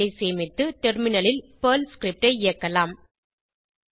file ஐ சேமித்து டெர்மினலில் பெர்ல் ஸ்கிரிப்ட் ஐ இயக்கலாம்